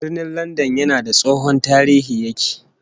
Birnin Landan yana da tsohon tarihin yake-yake